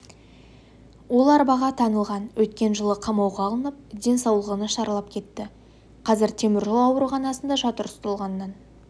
ол арбаға таңылған өткен жылы қамауға алынып денсаулығы нашарлап кетті қазір теміржол ауруханасында жатыр ұсталғаннан